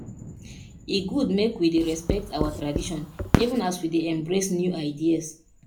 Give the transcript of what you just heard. e good make we dey respect our tradition even as we dey embrace new ideas